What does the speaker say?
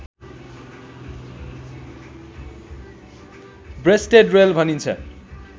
rested rail भनिन्छ